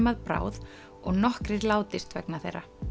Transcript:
að bráð og nokkrir látist vegna þeirra